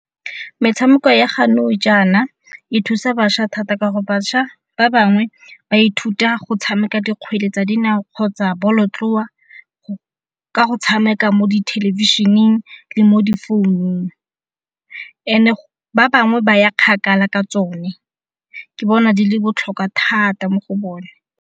Metshameko ya jaanong jaana e thusa bašwa thata ka gore bašwa ba bangwe ba ithuta go tshameka dikgwele tsa dinao kgotsa bolotloa ka go tshameka mo dithelebišeneng le mo di founung, ene ba bangwe ba ya kgakala ka tsone. Ke bona di le botlhokwa thata mo go bone.